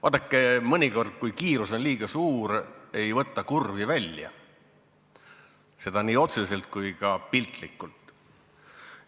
Vaadake, mõnikord, kui kiirus on liiga suur, ei võeta kurvi välja – seda nii otseselt kui ka piltlikult.